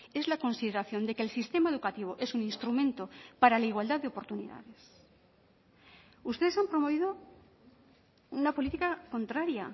es la consideración de que el sistema educativo es un instrumento para la igualdad de oportunidades ustedes han promovido una política contraria